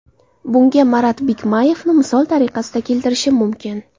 Bunga Marat Bikmayevni misol tariqasida keltirishim mumkin.